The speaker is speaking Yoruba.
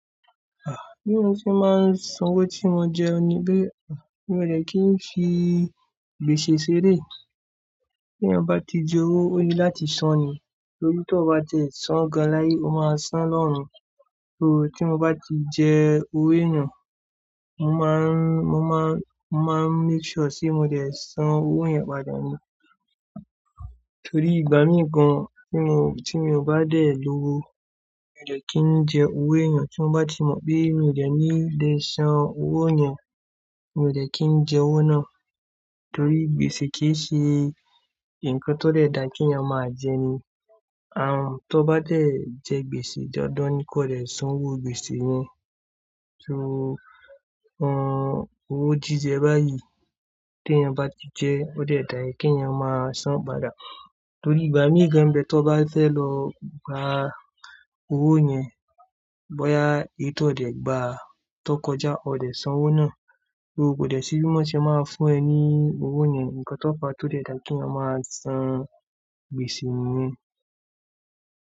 Ah! Bí mo fi máa ń san owó tí mo jẹun ni pé mi ò de kí ń fi gbèsè ṣeré. Bí ẹyan bá ti je owo, ó ni láti san ni. Torí tí ọ bá tiẹ san gan láye, o máa san lọ́run. So tí mo bá ti jẹ owó eeyan, mo máa n-- mo máa n-- mo máa make sure sí mo dẹ̀ san owó yẹn padà ni. Torí ìgbà mí gan tí mo, tí mio bá dè lówó, mi ò de kí ń jẹ owó ẹeyan tí mo bá ti mọ̀ pé mi ò de ní lè san owó yẹn, mi ò de kí ń jẹ owó náà. Torí gbèsè kì í ṣe nǹkan tó dẹ̀ dà kí yan máa jẹ ni. À hùn tó bá jẹ gbèsè dandan ni kó dẹ̀ san owó gbèsè yẹn. So o, un owó jíjẹ báyìí tí ẹyan bá ti jẹ, ó dẹ̀ dà kí ẹyan máa san padà. Torí ìgbà mí gan n bẹ tió bá fẹ́ lọ gba owó yẹn, bóyá èyí tó dẹ̀ gbà tó kọjá, o dẹ̀ san owó náà. So kò dẹ̀ sí bí wọ́n ṣe máa fún ẹ ní owó yẹn. Ǹkan tó fa tó dẹ̀ dà kí yan máa san gbèsè yẹn.